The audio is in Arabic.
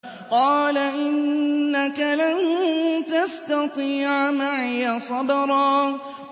قَالَ إِنَّكَ لَن تَسْتَطِيعَ مَعِيَ صَبْرًا